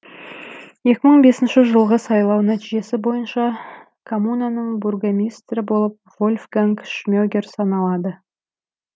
екі мың бесінші жылғы сайлау нәтижесі бойынша коммунаның бургомистрі болып вольфганг шмегер саналады